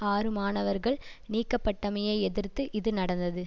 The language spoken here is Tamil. ஆறு மாணவர்கள் நீக்கப்பட்டமையை எதிர்த்து இது நடந்தது